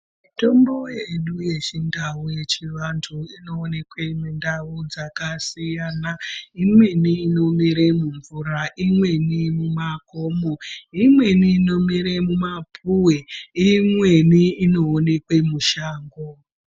Mitombo yedu yechindau, yechiantu, inoonekwa mundau dzakasiyana. Imweni inomera mumvura, imweni mumakomo, imweni inomere mumapuwe, imweni inoonekwe mushango.